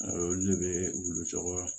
Olu de bɛ wulu